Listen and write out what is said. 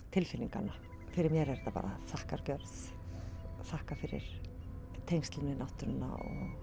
tilfinninganna fyrir mér er þetta bara þakkargjörð að þakka fyrir tengslin við náttúruna